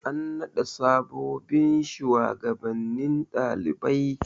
An naɗa sabobbin shugabannin ɗalibai.